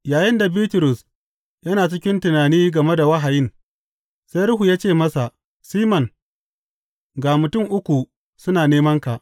Yayinda Bitrus yana cikin tunani game da wahayin, sai Ruhu ya ce masa, Siman, ga mutum uku suna nemanka.